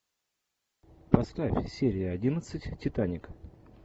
поставь серия одиннадцать титаник